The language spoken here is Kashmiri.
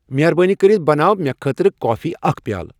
مہربٲنی کٔرِتھ بناو مے خٲطرٕ کافی اکھ پیالہٕ